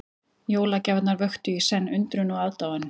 Jólagjafirnar vöktu í senn undrun og aðdáun.